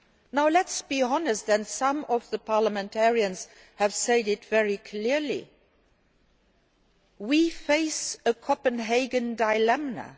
Now let us be honest and some of the parliamentarians have said it very clearly we face a Copenhagen dilemma.